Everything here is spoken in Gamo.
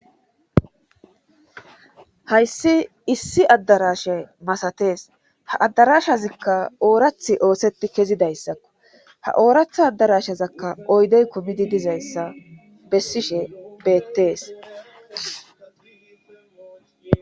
hayssi issi addarasha masatees ha addarashazikka oorath oosetti kezidayssakko ha ooratha addarashazakka oydey komidi dizayssa bessishe beettees